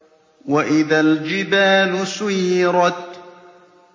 وَإِذَا الْجِبَالُ سُيِّرَتْ